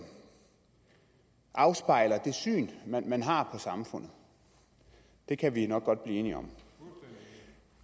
afspejler det syn man har på samfundet det kan vi jo nok godt blive enige om